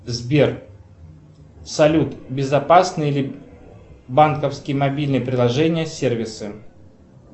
сбер салют безопасны ли банковские мобильные приложения сервисы